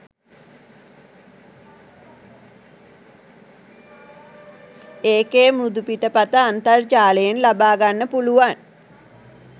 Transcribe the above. එකේ මෘදුපිටපත අන්තර්ජාලයෙන් ලබා ගන්න පුලුවන්